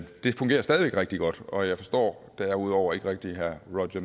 det fungerer stadig væk rigtig godt og jeg forstår derudover ikke rigtig herre roger